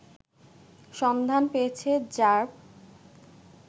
সন্ধান পেয়েছে র্যাব